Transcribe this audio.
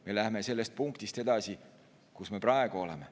Me läheme sellest punktist edasi, kus me praegu oleme.